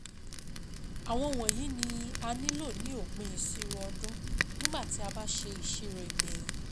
Àwọn wọ̀nyí ni a nílò ní òpin ìṣirò ọdún, nígbà tí a bá ṣe ìṣirò ìgbẹ̀yìn.